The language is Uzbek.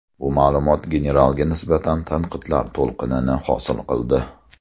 Bu ma’lumot generalga nisbatan tanqidlar to‘lqinini hosil qildi.